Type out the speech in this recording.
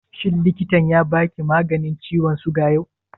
Shin likitan ya ba ki maganin ciwon suga yau?